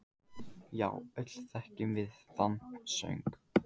Já, öll þekkjum við þann söng.